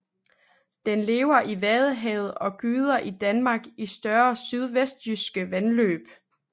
Den lever i Vadehavet og gyder i Danmark i større sydvestjyske vandløb